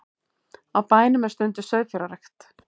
Á bænum er stunduð sauðfjárrækt